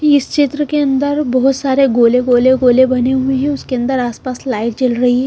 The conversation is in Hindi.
इस चित्र के अंदर बहुत सारे गोले गोले गोले बने हुए हैं उसके अंदर आसपास लाइट जल रही है।